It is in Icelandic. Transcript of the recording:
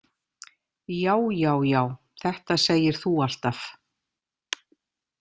Já, já, já, þetta segir þú alltaf!